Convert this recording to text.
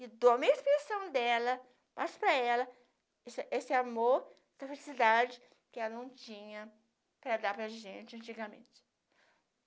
E dou a minha expressão dela, passo para ela esse esse amor, essa felicidade que ela não tinha para dar para gente antigamente.